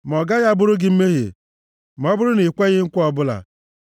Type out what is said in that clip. Ma ọ gaghị abụrụ gị mmehie ma ọ bụrụ na i kweghị nkwa ọbụla!